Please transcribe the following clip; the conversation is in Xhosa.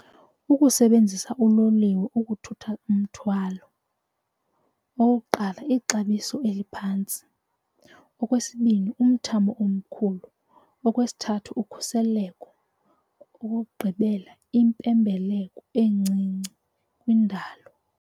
Ukusebenzisa uloliwe ukuthutha umthwalo okokuqala, ixabiso eliphantsi. Okwesibini, umthamo omkhulu okwesithathu ukhuseleko. Okokugqibela, impembelelo encinci kwindalo.